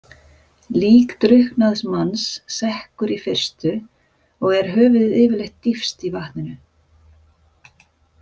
Lík drukknaðs manns sekkur í fyrstu og er höfuðið yfirleitt dýpst í vatninu.